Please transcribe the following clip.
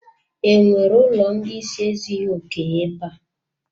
E nwere ụlọ ndị ịsị ezughi oke ebe a?